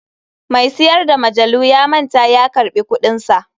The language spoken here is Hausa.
Mai siyar da majalu ya manta ya karɓi kuɗinsa.